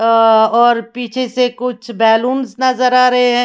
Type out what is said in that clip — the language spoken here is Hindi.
अह और पीछे से कुछ बैलूंस नजर आ रहे हैं।